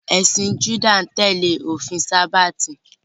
Ẹ̀sìn Júdà ń tẹ́lẹ̀ òfin sábáàtì